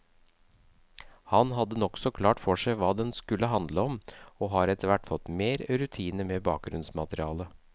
Han hadde nokså klart for seg hva den skulle handle om, og har etterhvert fått mer rutine med bakgrunnsmaterialet.